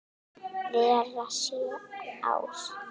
vera sjö ár!